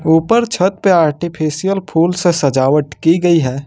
ऊपर छत पे आर्टिफिशियल फूल से सजावट की गई है।